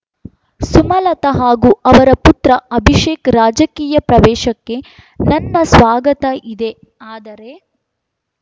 ಸುಮಲತಾ ಹಾಗೂ ಅವರ ಪುತ್ರ ಅಭಿಶೇಕ್ ರಾಜಕೀಯ ಪ್ರವೇಶಕ್ಕೆ ನನ್ನ ಸ್ವಾಗತ ಇದೆಆದರೆ